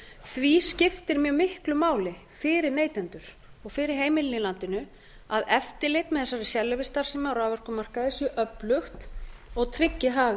því skiptir mjög miklu máli fyrir neytendur og fyrir heimilin í landinu að eftirlit með þessari sérleyfisstarfsemi á raforkumarkaði sé öflug og tryggi hag